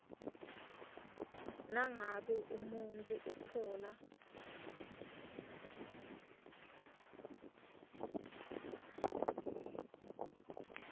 nangabe umuntfu utfola